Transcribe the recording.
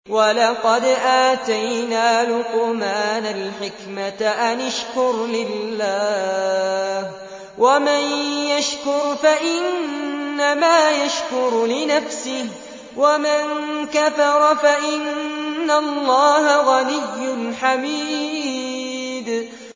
وَلَقَدْ آتَيْنَا لُقْمَانَ الْحِكْمَةَ أَنِ اشْكُرْ لِلَّهِ ۚ وَمَن يَشْكُرْ فَإِنَّمَا يَشْكُرُ لِنَفْسِهِ ۖ وَمَن كَفَرَ فَإِنَّ اللَّهَ غَنِيٌّ حَمِيدٌ